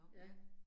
Ja